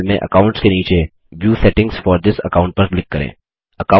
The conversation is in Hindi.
दायें पैनल में अकाउंट्स के नीचे view settings for this account पर क्लिक करें